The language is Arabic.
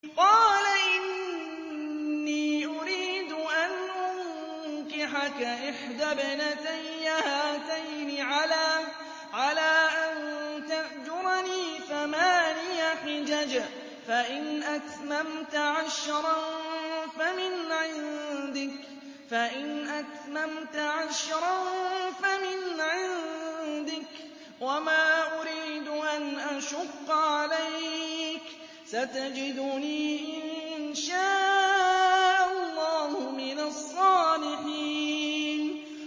قَالَ إِنِّي أُرِيدُ أَنْ أُنكِحَكَ إِحْدَى ابْنَتَيَّ هَاتَيْنِ عَلَىٰ أَن تَأْجُرَنِي ثَمَانِيَ حِجَجٍ ۖ فَإِنْ أَتْمَمْتَ عَشْرًا فَمِنْ عِندِكَ ۖ وَمَا أُرِيدُ أَنْ أَشُقَّ عَلَيْكَ ۚ سَتَجِدُنِي إِن شَاءَ اللَّهُ مِنَ الصَّالِحِينَ